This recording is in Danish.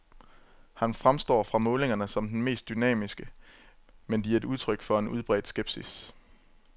Han fremstår fra målingerne som den mest dynamiske, men de er udtryk for en udbredt skepsis.